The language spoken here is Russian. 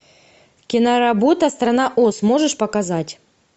киноработа страна оз можешь показать